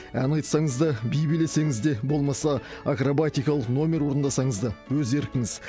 ән айтсаңыз да би билесеңіз де болмаса акробатикалық номер орындасаңыз да өз еркіңіз